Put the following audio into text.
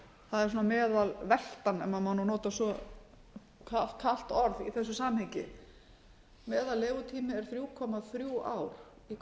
það er svona meðalveltan ef maður má nota svo kalt orð í þessu samhengi meðal legutími er þrjú komma þrjú ár í hverju hjúkrunarrými á